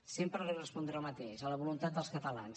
sempre li respondré el mateix a la voluntat dels catalans